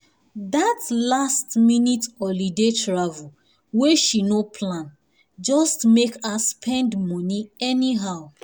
that last-minute holiday travel wey she no plan just make her spend money anyhow